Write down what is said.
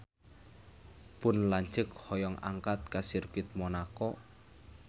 Pun lanceuk hoyong angkat ka Sirkuit Monaco